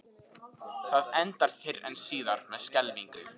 Það endar fyrr eða síðar með skelfingu.